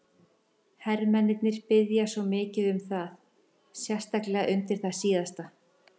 Hermennirnir biðja svo mikið um það, sérstaklega undir það síðasta.